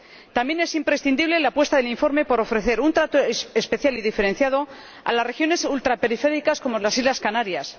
También es imprescindible la apuesta del informe por ofrecer un trato especial y diferenciado a las regiones ultraperiféricas como las islas Canarias.